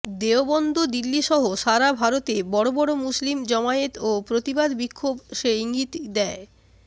দেওবন্দ দিল্লিসহ সারা ভারতে বড় বড় মুসলিম জমায়েত ও প্রতিবাদ বিক্ষোভ সে ইঙ্গিতই দেয়